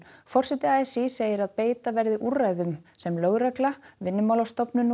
forseti a s í segir að beita verði úrræðum sem lögregla Vinnumálastofnun